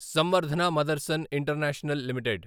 Samvardhana Motherson international limited